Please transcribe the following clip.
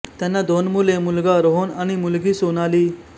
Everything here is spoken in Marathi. त्यांना दोन मुले मुलगा रोहन आणि मुलगी सोनाली